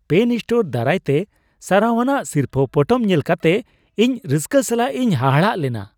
PAN store ᱫᱟᱨᱟᱭᱛᱮ ᱥᱟᱨᱦᱟᱣᱟᱱᱟᱜ ᱥᱤᱨᱯᱟᱹ ᱯᱚᱴᱚᱢ ᱧᱮᱞ ᱠᱟᱛᱮ ᱤᱧ ᱨᱟᱹᱥᱠᱟᱹ ᱥᱟᱞᱟᱜ ᱤᱧ ᱦᱟᱦᱟᱲᱟᱜ ᱞᱮᱱᱟ ᱾